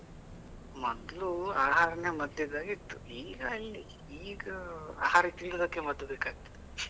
ಮೊದ್ಲು ಆಹಾರನೆ ಮದ್ದು ಇದ್ದಾಗೆ ಇತ್ತು, ಈಗ ಎಲ್ಲಿ ಈಗ ಆಹಾರ ತಿನ್ನುದಕ್ಕೆ ಮದ್ ಬೇಕಾಗ್ತದೆ .